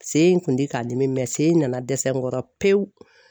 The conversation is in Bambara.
Se in kun ti k'a n dimi sen in nana dɛsɛ n kɔrɔ pewu